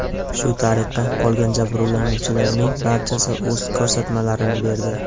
Shu tariqa, qolgan jabrlanuvchilarning barchasi o‘z ko‘rsatmalarini berdi.